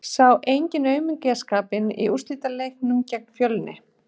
Sá enginn aumingjaskapinn í úrslitaleiknum gegn Fjölni?